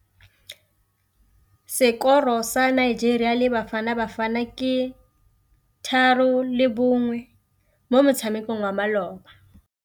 Sekôrô sa Nigeria le Bafanabafana ke 3-1 mo motshamekong wa malôba.